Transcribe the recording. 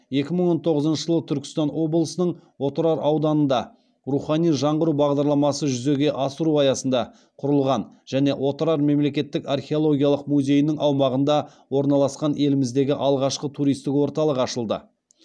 екі мың он тоғызыншы жылы түркістан облысының отырар ауданынында рухани жаңғыру бағдарламасы жүзеге асыру аясында құрылған және отырар мемлекеттік археологиялық музейінің аумағында орналасқан еліміздегі алғашқы туристік орталық ашылды